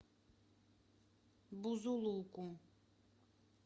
бузулуку